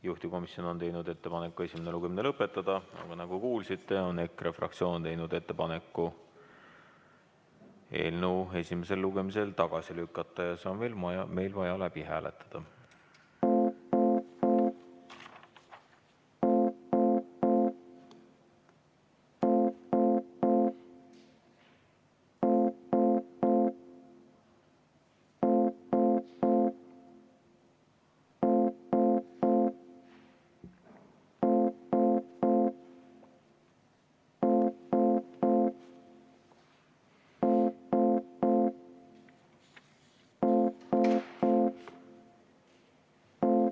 Juhtivkomisjon on teinud ettepaneku esimene lugemine lõpetada, aga nagu kuulsite, on EKRE fraktsioon teinud ettepaneku eelnõu esimesel lugemisel tagasi lükata ja see on vaja meil läbi hääletada.